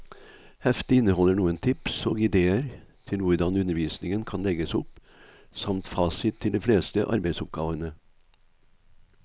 Heftet inneholder noen tips og idéer til hvordan undervisningen kan legges opp, samt fasit til de fleste arbeidsoppgavene.